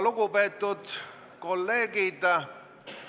Lugupeetud kolleegid!